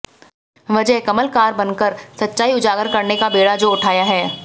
वजह कमलकार बनकर सच्चाई उजागर करने का बेड़ा जो उठाया है